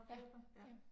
Ja ja